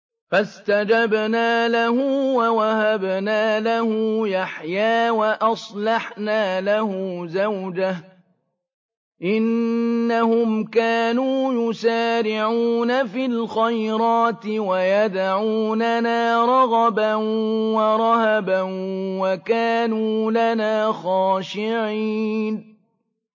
فَاسْتَجَبْنَا لَهُ وَوَهَبْنَا لَهُ يَحْيَىٰ وَأَصْلَحْنَا لَهُ زَوْجَهُ ۚ إِنَّهُمْ كَانُوا يُسَارِعُونَ فِي الْخَيْرَاتِ وَيَدْعُونَنَا رَغَبًا وَرَهَبًا ۖ وَكَانُوا لَنَا خَاشِعِينَ